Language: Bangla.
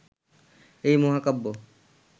এই মহাকাব্য